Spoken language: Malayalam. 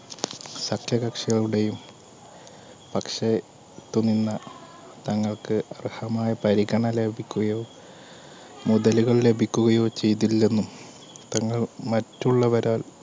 സഖ്യകക്ഷികളുടെയും പക്ഷെ തങ്ങൾക്ക് അർഹമായ പരിഗണ ലഭിക്കുകയോ മുതലുകൾ ലഭിക്കുകയോ ചെയ്തില്ലെന്നും തങ്ങൾ മറ്റുള്ളവരാൽ